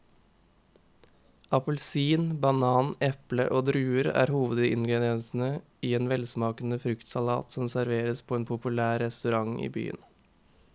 Appelsin, banan, eple og druer er hovedingredienser i en velsmakende fruktsalat som serveres på en populær restaurant i byen.